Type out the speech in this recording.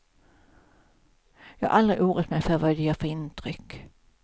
Jag har aldrig oroat mig för vad jag gör för intryck.